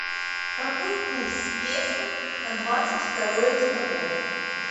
какой курс песо на двадцать второе декабря